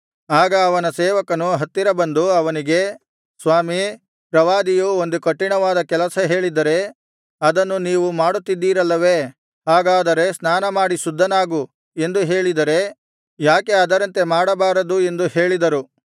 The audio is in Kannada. ಆಗ ಅವನ ಸೇವಕರು ಹತ್ತಿರ ಬಂದು ಅವನಿಗೆ ಸ್ವಾಮೀ ಪ್ರವಾದಿಯು ಒಂದು ಕಠಿಣವಾದ ಕೆಲಸ ಹೇಳಿದ್ದರೆ ಅದನ್ನು ನೀವು ಮಾಡುತ್ತಿದ್ದಿರಲ್ಲವೇ ಹಾಗಾದರೆ ಸ್ನಾನಮಾಡಿ ಶುದ್ಧನಾಗು ಎಂದು ಹೇಳಿದರೆ ಯಾಕೆ ಅದರಂತೆ ಮಾಡಬಾರದು ಎಂದು ಹೇಳಿದರು